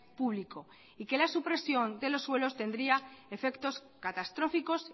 público y que la supresión de los suelos tendría efectos catastróficos